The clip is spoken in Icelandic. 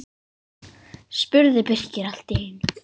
spurði Birkir allt í einu.